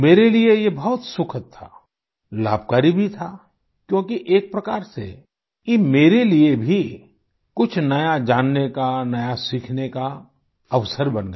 मेरे लिए ये बहुत सुखद था लाभकारी भी था क्योंकि एक प्रकार से ये मेरे लिए भी कुछ नया जानने का नया सीखने का अवसर बन गया